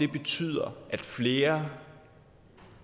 betyder at flere